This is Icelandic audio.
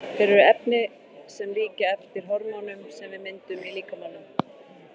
Þeir eru efni sem líkja eftir hormónum sem við myndum í líkamanum.